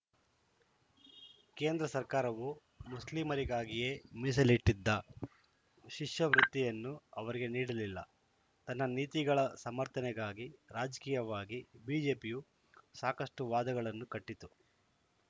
ಕೇಂದ್ರ ಸರ್ಕಾರವು ಮುಸ್ಲಿಮರಿಗಾಗಿಯೇ ಮೀಸಲಿಟ್ಟಿದ್ದ ಶಿಷ್ಯವೃತ್ತಿಯನ್ನೂ ಅವರಿಗೆ ನೀಡಲಿಲ್ಲ ತನ್ನ ನೀತಿಗಳ ಸಮರ್ಥನೆಗಾಗಿ ರಾಜಕೀಯವಾಗಿ ಬಿಜೆಪಿಯು ಸಾಕಷ್ಟುವಾದಗಳನ್ನು ಕಟ್ಟಿತು